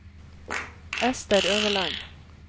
Ester Øverland